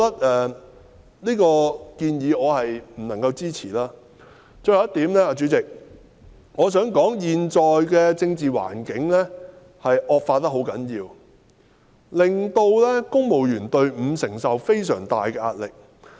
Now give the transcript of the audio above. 代理主席，我最後想提出的一點是，現在的政治環境惡化至極，令公務員隊伍承受非常大的壓力。